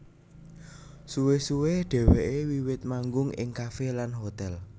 Suwe suwe dheweke wiwit manggung ing kafe lan hotel